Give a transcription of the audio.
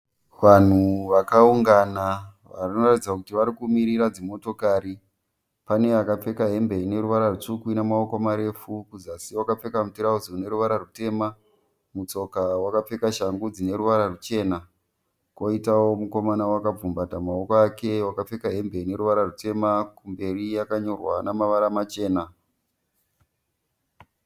Vanhu vakaungana vanoratidza kuti varikumirira dzimotokari. Pane akapfeka hembe ineruvara rutsvuku inemaoko marefu kuzasi wakapfeka mutirauzi uneruvara rutema mutsoka wakapfeka shangu dzineruvara ruchena koitawo mukomana wakagumbata maoko ake wakapfeka hembe ineruvara rutema kumberi yakanyorwa nemavara machena.